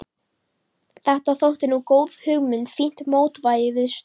Þetta þótti nú góð hugmynd, fínt mótvægi við stór